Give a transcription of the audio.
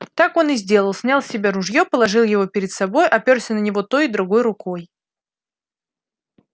так он и сделал снял с себя ружье положил его перед собой оперся на него той и другой рукой